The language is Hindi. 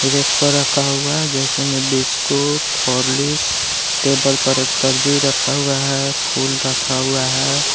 रेक पर रखा हुआ है जैसे मैं बिस्कुट हॉर्लिक्स टेबल पर एक दर्जी रखा हुआ है। फुल रखा हुआ है।